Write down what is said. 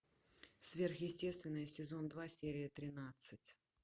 сверхъестественное сезон два серия тринадцать